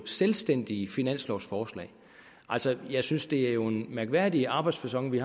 selvstændige finanslovforslag jeg synes det er en mærkværdig arbejdsfacon vi